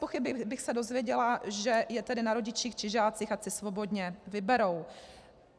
Bezpochyby bych se dozvěděla, že je tedy na rodičích či žácích, ať si svobodně vyberou.